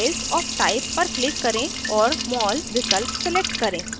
files of type पर click करें और mol विकल्प select करें